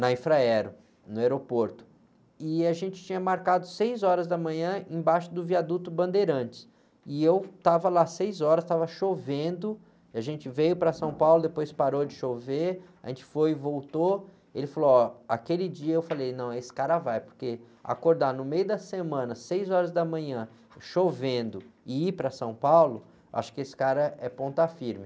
na Infraero, no aeroporto, e a gente tinha marcado seis horas da manhã embaixo do viaduto Bandeirantes, e eu estava lá seis horas, estava chovendo, a gente veio para São Paulo, depois parou de chover, a gente foi e voltou, ele falou, ó, aquele dia eu falei, não, esse cara vai, porque acordar no meio da semana, seis horas da manhã, chovendo, e ir para São Paulo, acho que esse cara é ponta firme.